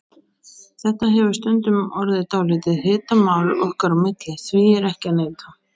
Þetta hefur stundum orðið dálítið hitamál okkar á milli, því er ekki að neita.